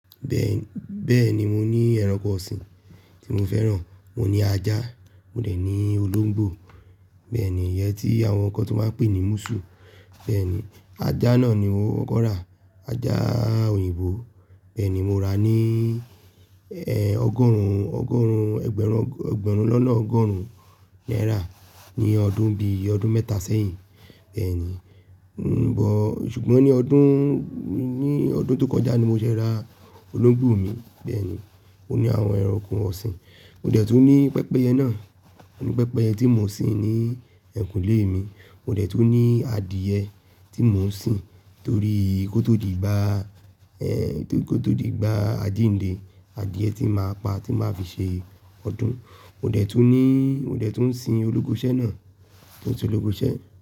Bẹ́ẹ̀ni, bẹ́́ẹ̀ni mo ní ẹranko ọ̀sìn tí mo fẹ́ràn, mo ní ajá, mo dẹ̀ ní olóńgbò, bẹ́ẹ̀ni, ìyẹn tí àwọn kan tu n máa ń pè ní musù, bẹ́ẹ̀ni. Ajá náà ni mo kọ́ ra, ajá òyìnbó, bẹ́ẹ̀ni, mo rà ní, ẹ̀, ọgọ́rùn, ọgọ́rùn, ẹgbẹ̀rún, ẹgbẹ̀rún lọ́nà ọgọ́rùn naira ní ọdún bí ọdún mẹ́ta sẹ́yìn, bẹ́ẹ̀ni. N boo ṣùgbọ́n ní ọdún, ní ọdún tó kọjá ni mo ṣe ra olóńgbò mi, bẹ́ẹ̀ni. O ni àwọn ẹranko ọ̀sìn. Mo dẹ̀ tun ní pẹpẹyẹ náà, ọ̀ní pẹpẹyẹ tí mo ń sin ní ẹ̀kúnle mi, mo dẹ̀ tun ní adìẹ tí mò ń sìn torí kó tó di gbá, ẹ̀, kó tó di gbá ajìndé, adìẹ tí mo máa pa tí mo ma fi ṣe ọdún. Mo dẹ̀ tun ní, mo dẹ̀ tun ń sin ologoṣẹ́ náà, mo tun ni ologoṣẹ́.